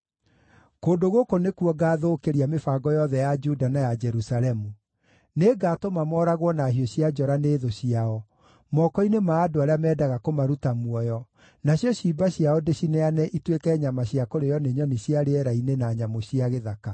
“ ‘Kũndũ gũkũ nĩkuo ngathũkĩria mĩbango yothe ya Juda na ya Jerusalemu. Nĩngatũma mooragwo na hiũ cia njora nĩ thũ ciao, moko-inĩ ma andũ arĩa mendaga kũmaruta muoyo, nacio ciimba ciao ndĩciheane ituĩke nyama cia kũrĩĩo nĩ nyoni cia rĩera-inĩ na nyamũ cia gĩthaka.